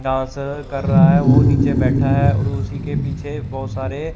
dance अ कर रहा है वो नीचे बैठा है और उसी के पीछे बहुत सारे--